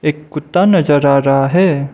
एक कुत्ता नजर आ रहा है।